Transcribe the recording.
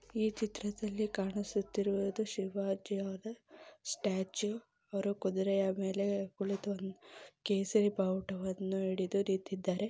ಈ ಚಿತ್ರದಲ್ಲಿ ಕಾಣಿಸುತ್ತಿರುವುದು ಶಿವಾಜಿ ಅವರ ಸ್ಟ್ಯಾಚು ಅವರು ಕುದುರೆ ಮೇಲೆ ಕುಳಿತು ಕೇಸರಿ ಬಾವುಟವನ್ನು ಹಿಡಿದು ನಿಂತಿದ್ದಾರೆ.